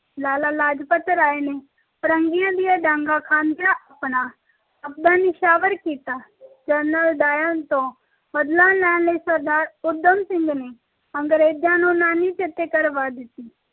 ਲਾਲਾ ਲਾਜਪਤ ਰਾਯ ਨੇ ਫ਼ਿਰੰਗੀਆਂ ਦੀਆਂ ਡਾਂਗ ਖਾਂਦਿਆਂ ਆਪਣਾ ਆਪ ਨਯੋਚਵਾਰ ਕੀਤਾ ਡਾਇਰ ਨੇ ਬਦਲਾ ਲੈਣ ਲਈ ਊਧਮ ਸਿੰਘ ਨੇ ਅੰਗਰੇਜਾਂ ਨੂੰ ਨਾਨੀ ਚੇਤੇ ਕਰਵਾ ਦਿੱਤੀ